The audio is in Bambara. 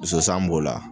Zozan b'o la